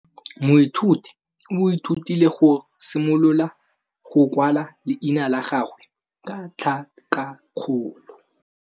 Moithuti o ithutile go simolola go kwala leina la gagwe ka tlhakakgolo.